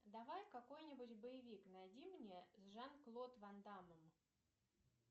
давай какой нибудь боевик найди мне с жан клод ван даммом